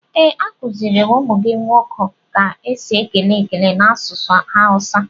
Ee, a kuziri m ụmụ gị ndi nwoke ka esi ekele ekele n'asụsụ Awusa.